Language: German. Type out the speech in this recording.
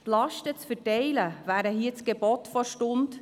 Die Lasten zu verteilen wäre hier das Gebot der Stunde.